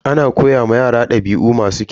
Ana koya ma yara dabi'u masu kyau.